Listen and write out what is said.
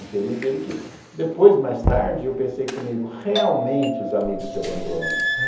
Infeliz dele que depois, mais tarde, eu pensei comigo, realmente os amigos te abandonam.